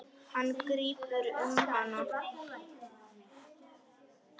Hann grípur um hana.